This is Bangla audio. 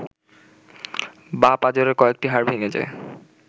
বাঁ পাজরের কয়েকটি হাড় ভেঙে যায়